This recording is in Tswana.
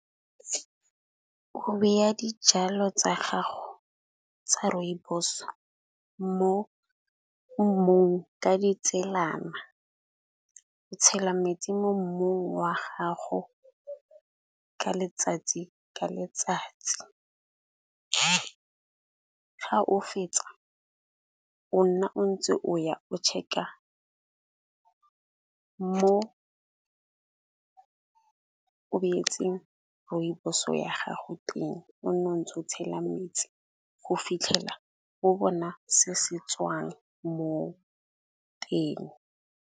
Go beya dijalo tsa gago tsa rooibos mo mmung ka ditselana. O tshela metsi mo mmung wa gago ka letsatsi ka letsatsi. Fa o fetsa o nna o ntse o ya o check-a mo o beetseng rooibos-o ya gago teng o nne o ntse o tshela metsi go fitlhela go bona se se tswang mo teng.